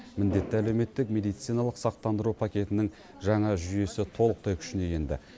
міндетті әлеуметтік медициналық сақтандыру пакетінің жаңа жүйесі толықтай күшіне енді